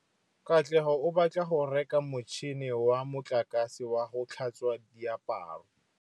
Katlego o batla go reka motšhine wa motlakase wa go tlhatswa diaparo.